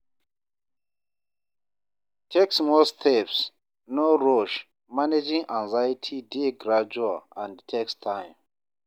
Take small steps, no rush; managing anxiety dey gradual and takes time.